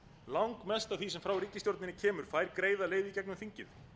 langmest af því sem frá ríkisstjórninni kemur fær greiða leið í gegnum þingið